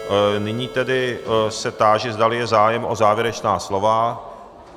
Nyní tedy se táži, zdali je zájem o závěrečná slova.